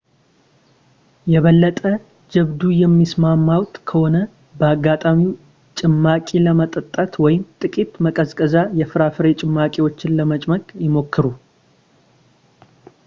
የበለጠ ጀብዱ የሚሰማዎት ከሆነ በአጋጣሚው ጭማቂ ለመጠጣት ወይም ጥቂት ማቀዝቀዣ የፍራፍሬ ጭማቂዎችን ለመጭመቅ ይሞክሩ